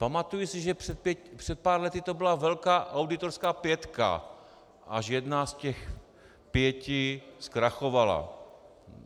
Pamatuji si, že před pár lety to byla velká auditorská pětka, až jedna z těch pěti zkrachovala.